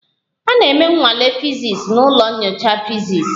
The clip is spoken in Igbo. A na-eme nnwale fiziks n'ụlọ nyocha fiziks